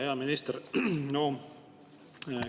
Hea minister!